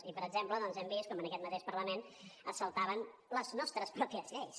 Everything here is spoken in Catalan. i per exemple doncs hem vist com en aquest mateix parlament es saltaven les nostres pròpies lleis